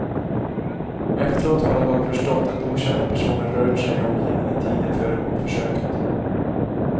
Efteråt har han dock förstått att okända personer rört sig i omgivningen tiden före mordförsöket.